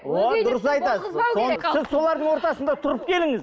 сіз солардың ортасында тұрып келіңіз